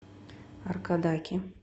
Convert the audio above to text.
аркадаке